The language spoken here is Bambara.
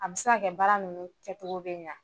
A bi se ka kɛ baara nunnu kɛcogo bi ɲa